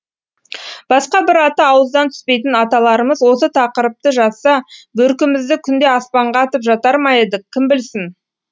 басқа бір аты ауыздан түспейтін аталарымыз осы тақырыпты жазса бөркімізді күнде аспанға атып жатар ма едік кім білсін